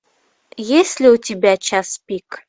есть ли у тебя час пик